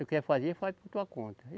Tu quer fazer, faz por tua conta.